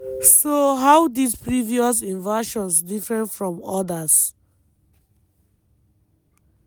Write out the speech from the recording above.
so how dis previous invasions different from odas?